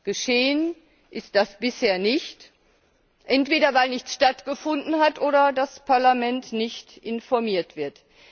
Geschehen ist das bisher nicht, entweder weil nichts stattgefunden hat oder das Parlament nicht informiert wird.